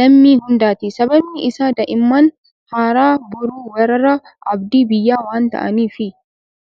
lammii hundaati. Sababni isaas daa'imman har'aa boru warra abdii biyyaa waan ta'aniifi.